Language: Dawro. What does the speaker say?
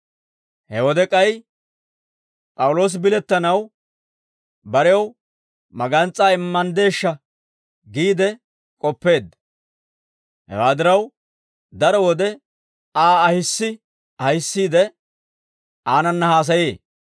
He wode k'ay P'awuloosi bilettanaw, barew magans's'aa immanddeeshsha giide k'oppeedda; hewaa diraw, daro wode Aa ahissi ahissiide, aanana haasayee.